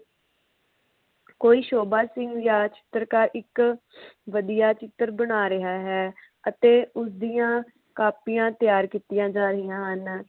ਕੋਈ ਸ਼ੋਭਾ ਸਿੰਘ ਯਾ ਚਿੱਤਰਕਾਰ ਇਕ ਵਧੀਆ ਚਿੱਤਰ ਬਣਾ ਰਿਹਾ ਹੈ ਅਤੇ ਉਸ ਦੀਆ ਕਾਪੀਆਂ ਤਿਆਰ ਕੀਤੀਆਂ ਜਾ ਰਹੀਆਂ ਹਨ